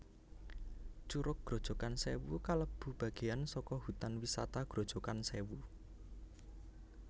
Curug Grojogan Sewu kalebu bageyan saka Hutan Wisata Grojogan Sèwu